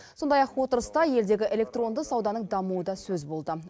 сондай ақ отырыста елдегі электронды сауданың дамуы да сөз болды